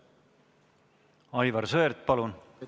Aivar Sõerd, palun!